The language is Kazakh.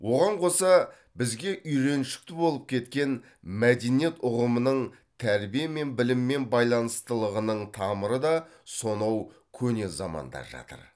оған қоса бізге үйреншікті болып кеткен мәдениет ұғымының тәрбие мен біліммен байланыстылығының тамыры да сонау көне заманда жатыр